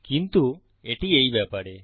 কিন্তু এটি এই ব্যাপারে